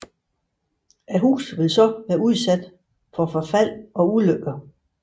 Huset ville så være udsat for forfald og ulykker